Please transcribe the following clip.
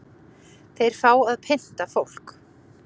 Þeir fá að pynta fólk